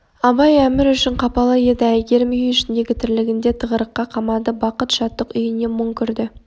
абай әмір үшін қапалы еді әйгерім үй ішіндегі тірлігінде тығырыққа қамады бақыт шаттық үйіне мұң кірді